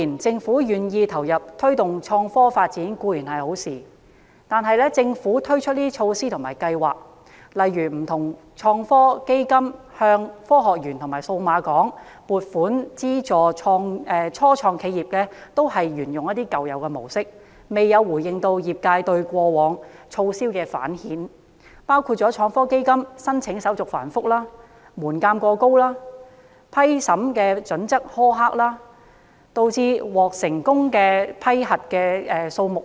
政府願意投入推動創科發展固然是好事，但推出的措施及計劃，例如不同創科基金及向科學園及數碼港撥款資助初創企業，均沿用舊有模式，未有回應業界對過往措施的反饋意見，包括創科基金申請手續繁複、門檻過高和審批準則苛刻，導致獲批資助的公司數目偏少。